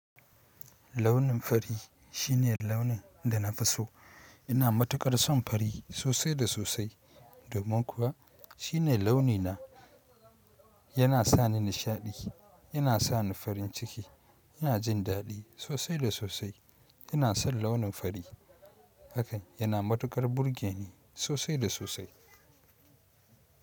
Launin fari shine launin da na fi so. Ina matukar son fari sosai da sosai domin kuwa shine launi na, yana sa ni nishaɗi, yana sa ni farin ciki, yana jin daɗi sosai da sosai. Ina son launin fari hakan, yana matukar burge ni sosai da sosai.